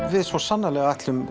við svo sannarlega ætlum